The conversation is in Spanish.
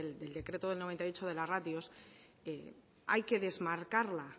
del decreto del noventa y ocho de la ratios hay que desmarcarla